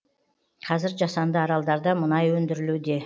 қазір жасанды аралдарда мұнай өндірілуде